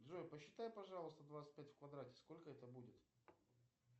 джой посчитай пожалуйста двадцать пять в квадрате сколько это будет